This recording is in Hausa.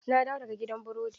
Na dawo daga gidan burodin